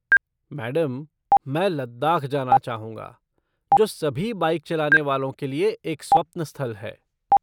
Madam, मैं लद्दाख जाना चाहूँगा, जो सभी बाइक चलाने वालों के लिए एक स्वप्न स्थल है।